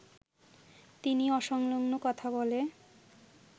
তিনি অসংলগ্ন কথা বলে